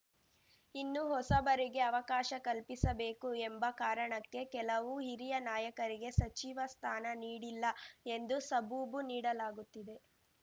ಇನ್ನು ಹೊಸಬರಿಗೆ ಅವಕಾಶ ಕಲ್ಪಿಸಬೇಕು ಎಂಬ ಕಾರಣಕ್ಕೆ ಕೆಲವು ಹಿರಿಯ ನಾಯಕರಿಗೆ ಸಚಿವ ಸ್ಥಾನ ನೀಡಿಲ್ಲ ಎಂದು ಸಬೂಬು ನೀಡಲಾಗುತ್ತಿದೆ